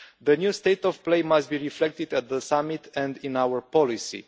The new state of play must be reflected at the summit and in our policy.